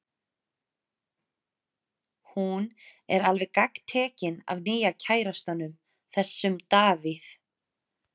Hún er alveg gagntekin af nýja kærastanum, þessum Davíð.